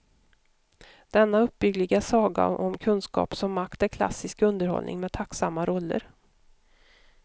Denna uppbyggliga saga om kunskap som makt är klassisk underhållning med tacksamma roller.